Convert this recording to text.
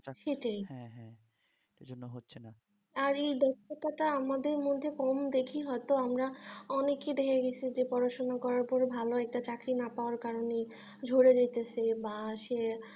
আর এই দক্ষতা টা আমাদের মধ্যে কম দেখি হয়তো আমরা অনেকেই দেখে গেছি যে পড়াশোনা করার পর ভালো একটা চাকরী না পাওয়ার কারণে ঝরে যাচ্ছে বা সে